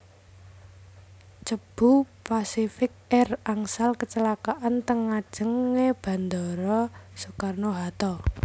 Cebu Pacific Air angsal kecelakaan teng ngajeng e bandara Soekarno Hatta